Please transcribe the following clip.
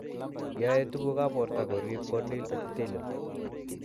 Yae tuguk ap porto korip corneal epithelial